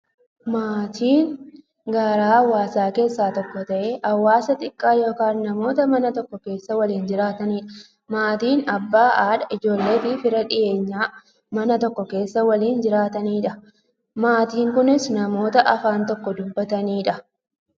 Maatiin garaa hawaasaa keessaa tokko ta'ee, hawaasa xiqqaa yookin namoota Mana tokko keessaa waliin jiraataniidha. Maatiin Abbaa, haadha, ijoolleefi fira dhiyeenyaa, Mana tokko keessaa waliin jiraataniidha. Maatiin kunnis, namoota afaan tokko dubbataniidha.